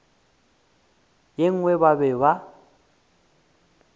ye nngwe ba be ba